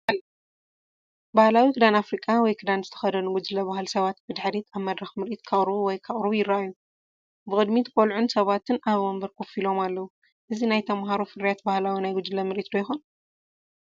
ባህላዊ ክዳን ኣፍሪቃ ወይ ክዳን ዝተኸድኑ ጉጅለ ባህሊ ሰባት ብድሕሪት ኣብ መድረኽ ምርኢት ከቕርቡ ወይ ከቕርቡ ይረኣዩ። ብቅድሚት ቆልዑን ሰባትን ኣብ ወንበር ኮፍ ኢሎም ኣለዉ። እዚ ናይ ተማሃሮ ፍርያት ባህላዊ ናይ ጉጅለ ምርኢት ዶ ይኾን?